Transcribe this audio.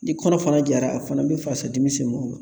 Ni kɔnɔ fana jara a fana bɛ fasadimi se mɔgɔ ma